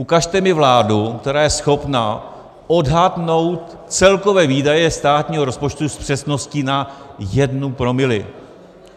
Ukažte mi vládu, která je schopná odhadnout celkové výdaje státního rozpočtu s přesností na jedno promile.